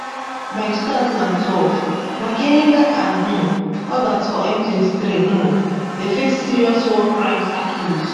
by 2012 makenga and um odas for m23 um dey face serious war crimes accuse